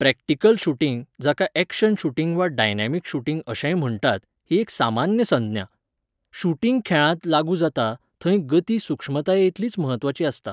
Practical shooting, जाका action shooting वा dynamic shooting अशेंय म्हण्टात, ही एक सामान्य संज्ञा. शूटिंग खेळांत लागू जाता, थंय गती सुक्ष्मतायेइतलीच म्हत्वाची आसता.